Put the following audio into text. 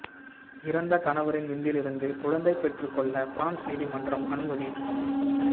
இறந்த கணவரின் விந்திலிருந்து குழந்தை பெற்றுக் கொள்ள பிரான்ஸ் நீதிமன்று அனுமதி